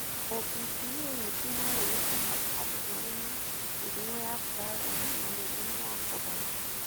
OPCA ningĩ no yoneke harĩ andũ marĩ na mĩrimũ ya prion na mĩrimũ ya kũgaya.